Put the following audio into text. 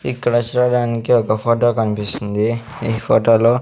ఇక్కడ సూడడానికి ఒక ఫొటో కన్పిస్తుంది ఈ ఫోటో లో --